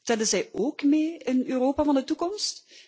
Tellen zij ook mee in het Europa van de toekomst?